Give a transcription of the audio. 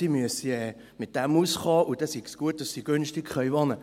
Sie müssten damit auskommen, und es sei gut, dass sie günstig wohnen können.